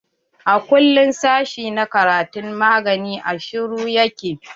A kullum sashi na karatun magani a shuru ya ke.